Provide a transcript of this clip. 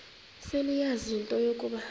seleyazi into yokuba